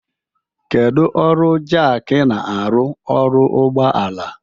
Kedu ọrụ jakị na-arụ ọrụ ụgbọ ala?